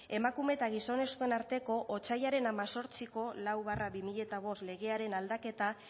emakume eta gizonezkoen arteko otsailaren hemezortziko lau barra bi mila bost legearen aldaketa